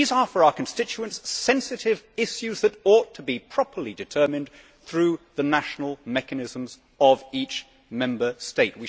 These are, for our constituents, sensitive issues that ought to be properly determined through the national mechanisms of each Member State.